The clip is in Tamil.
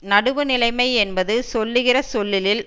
நடுவு நிலைமை என்பது சொல்லுகிற சொல்லிலில்